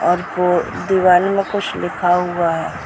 और वो दीवारों में कुछ लिखा हुआ है ।